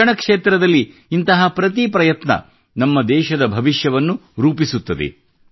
ಶಿಕ್ಷಣ ಕ್ಷೇತ್ರದಲ್ಲಿ ಇಂತಹ ಪ್ರತೀ ಪ್ರಯತ್ನ ನಮ್ಮ ದೇಶದ ಭವಿಷ್ಯವನ್ನು ರೂಪಿಸುತ್ತದೆ